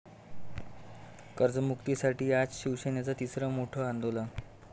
कर्जमुक्तीसाठी आज शिवसेनेचं तिसरं मोठं आंदोलन